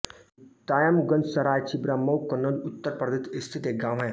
दायमगंज सराय छिबरामऊ कन्नौज उत्तर प्रदेश स्थित एक गाँव है